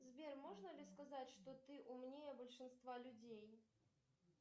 сбер можно ли сказать что ты умнее большинства людей